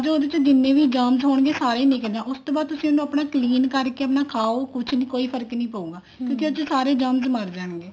ਉਹਦੇ ਚ ਜਿੰਨੇ ਵੀ germs ਹੋਣਗੇ ਸਾਰੇ ਹੀ ਨਿੱਕਲ ਜਾਣਗੇ ਉਸ ਤੋਂ ਬਾਅਦ ਚਲੇਂ ਕਰਕੇ ਆਪਣਾ ਖਾਓ ਕੁੱਛ ਨੀ ਕੋਈ ਫਰਕ ਨੀ ਪਾਉਗਾ ਕਿਉਂਕਿ ਉਹਦੇ ਚ ਸਾਰੇ germs ਮਰ ਜਾਣਗੇ